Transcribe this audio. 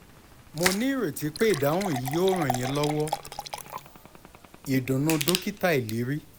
mo ní ìrètí pé ìdáhùn yìí yóò ràn yín lọ́wọ́!ìdùnnú dokita iliri